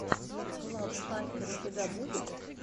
глав хакер у тебя будет